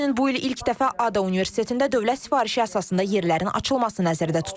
Həmçinin bu il ilk dəfə ADA Universitetində dövlət sifarişi əsasında yerlərin açılması nəzərdə tutulur.